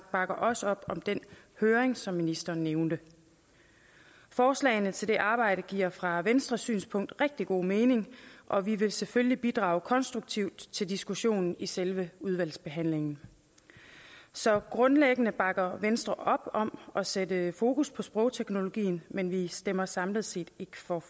bakker også op om den høring som ministeren nævnte forslagene til det arbejde giver set fra venstres synspunkt rigtig god mening og vi vil selvfølgelig bidrage konstruktivt til diskussionen i selve udvalgsbehandlingen så grundlæggende bakker venstre op om at sætte fokus på sprogteknologien men vi stemmer samlet set ikke for